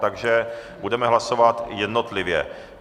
Takže budeme hlasovat jednotlivě.